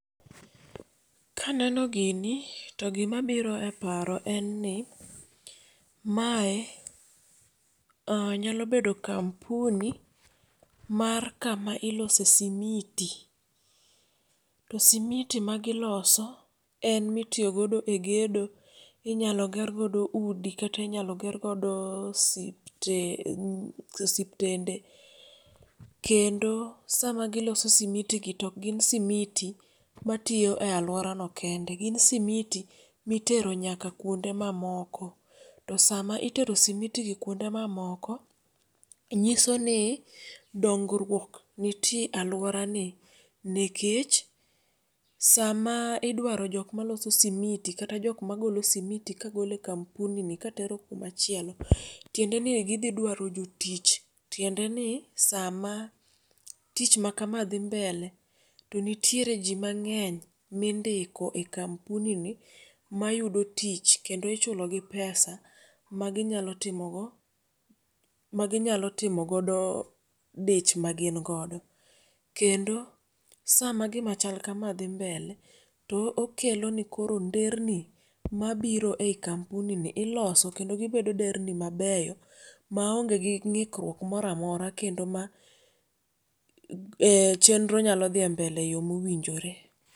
Kaneno gini to gima biro e paro en ni, mae nyalo bedo kampuni mar kama ilose simiti. To simiti ma giloso en mitiyo godo e gedo. Inyalo ger godo udi, kata inyalo ger godo siptende. Kendo sama giloso simiti gi to ok gin simiti ma tiyo e alwora no kende, gin simiti ma itero nyaka kuonde mamoko. To sama itero simiti gi kuonde mamoko, nyiso ni dongruok nitie e alworani, nikech, sama idwaro jok maloso simiti, kata jok magolo simiti ka golo e kampuni katero kuma chielo. Tiende ni e gidhi dwaro jotich. Tiende ni sama tich ma kama dhi mbele to nitiere ji mang'eny mindiko e kampuni ni mayudo tich, kendo ichulo gi pesa ma ginyalo timogo, ma ginyalo timogodo dich magin godo. Kendo sama gimachal kama dhi mbele to kelo ne koro nderni mabiro e kampuni ni iloso, kendo gibedo nderni mabeyo ma onge gi ng'ikruok moro amora kendo kendo ma chenro nyalo dhie mbele e yo ma owinjore.